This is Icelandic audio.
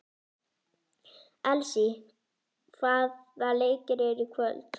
Elsý, hvaða leikir eru í kvöld?